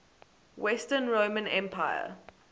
western roman empire